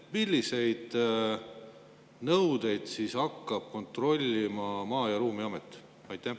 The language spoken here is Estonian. Milliseid nõudeid siis hakkab kontrollima Maa‑ ja Ruumiamet?